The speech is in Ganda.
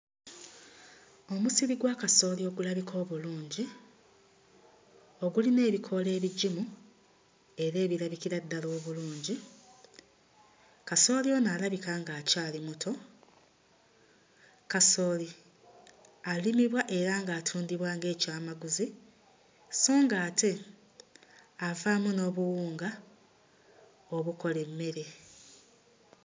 Omusiri gwa kasaooli ogulabika obulungi ogulina ebikoola ebigimu era ebirabikira ddala obulungi, kasooli ono alabika ng'akyali muto kasooli alimibwa era ng'atundibwa ng'ekyamaguzi sso ng'ate avaamu n'obuwunga obukola emmere.